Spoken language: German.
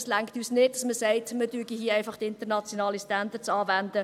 Es reicht uns nicht, dass man sagt, dass man einfach internationale Standards anwende.